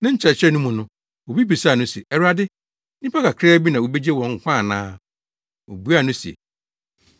Ne nkyerɛkyerɛ no mu no, obi bisaa no se, “Awurade, nnipa kakraa bi na wobegye wɔn nkwa ana?” Obuaa no se,